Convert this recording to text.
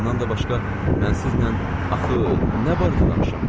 Bundan da başqa mən sizinlə axı nə barədə danışım?